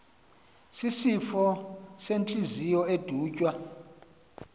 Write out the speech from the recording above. sisifo sentliziyo edutywe